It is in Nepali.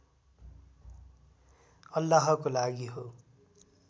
अल्लाहको लागि हो